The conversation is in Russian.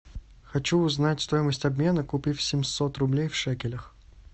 хочу узнать стоимость обмена купив семьсот рублей в шекелях